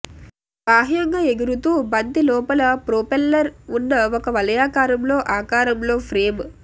బాహ్యంగా ఎగురుతూ బంతి లోపల ప్రొపెల్లర్ ఉన్న ఒక వలయాకారంలో ఆకారంలో ఫ్రేమ్